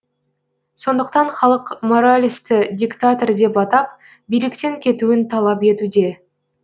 сондықтан халық моралесті диктатор деп атап биліктен кетуін талап етуде